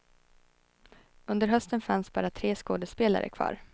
Under hösten fanns bara tre skådespelare kvar.